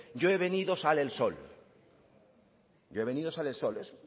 yo he venido sale el sol